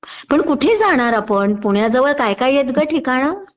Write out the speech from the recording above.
पण कुठे जाणार आपण? पुण्याजवळ काही काहीयेत का ठिकाण?